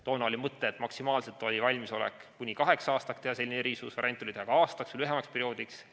Toona oli maksimaalselt valmisolek kuni kaheks aastaks teha selline erisus, variant oli teha ka aastaks või lühemaks perioodiks.